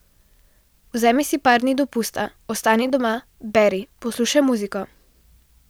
Vzemi si par dni dopusta, ostani doma, beri, poslušaj muziko.